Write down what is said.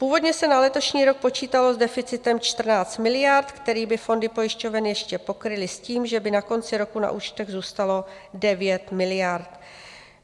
Původně se na letošní rok počítalo s deficitem 14 miliard, který by fondy pojišťoven ještě pokryly s tím, že by na konci roku na účtech zůstalo 9 miliard.